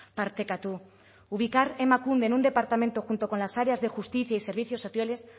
partekatu ubicar emakunde en un departamento junto con las áreas de justicia y servicios sociales